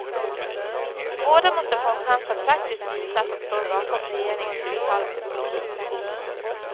Båda måste få en chans att praktiskt visa att de står bakom regeringens uttalade politik.